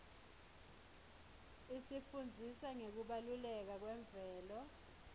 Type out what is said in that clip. isifundzisa ngekubaluleka kwemvelo